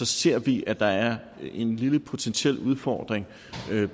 ser vi at der er en lille potentiel udfordring